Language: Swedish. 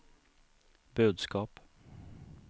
budskap